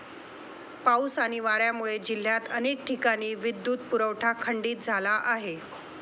पाऊस आणि वाऱ्यामुळे जिल्ह्यात अनेक ठिकाणी विद्युत पुरवठा खंडित झाला आहे.